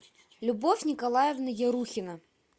любовь николаевна ерухина